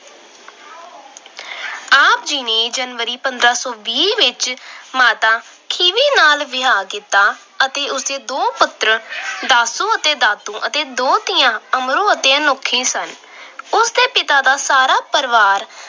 ਆਪ ਜੀ ਨੇ january, ਪੰਦਰਾਂ ਸੌ ਵੀਹ ਵਿੱਚ ਮਾਤਾ ਖੀਵੀ ਨਾਲ ਵਿਆਹ ਕੀਤਾ ਅਤੇ ਉਸਦੇ ਦੋ ਪੁੱਤਰ ਦਾਸੂ ਅਤੇ ਦਾਤੂ ਅਤੇ ਦੋ ਧੀਆਂ ਅਮਰੋ ਅਤੇ ਅਨੋਖੀ ਸਨ। ਉਸਦਾ ਸਾਰਾ ਪਰਿਵਾਰ